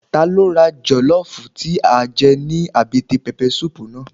Ta ló ra jọlọfu tí a jẹ ní àbẹ́tẹ̀ pẹpẹ suupu náà?